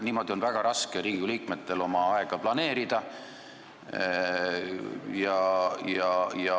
Niimoodi on Riigikogu liikmetel väga raske oma aega planeerida.